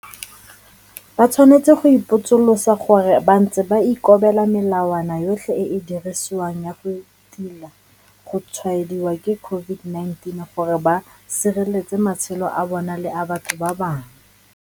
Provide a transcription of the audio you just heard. Ba tshwanetse go ipotsolotsa gore a bantse ba ikobela melawana yotlhe e e dirisiwang ya go tila go tshwaediwa ke COVID-19 gore ba sireletse matshelo a bona le a batho ba bangwe?